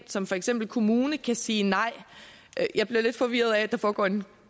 som for eksempel kommune kan sige nej jeg bliver lidt forvirret af at der foregår en